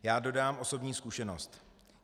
Já dodám osobní zkušenost.